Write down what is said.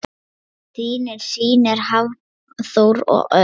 Þínir synir Hafþór og Örn.